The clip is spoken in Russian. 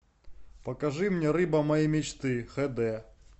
покажи мне рыба моей мечты хд